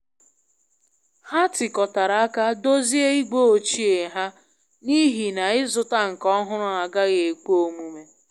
Ha tikotara aka dozie igwe ochie ha n'ihi na ịzụta nke ọhụrụ agaghị ekwe omume.